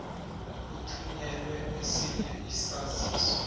uthunyelelwe esinye isaziso